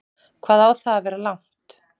Hvað á það að vera langt?